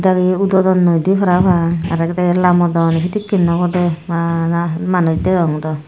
ak dagi udodon noide para pang aro ak dagi lamodon na sedekay oboda bana manus dagong do.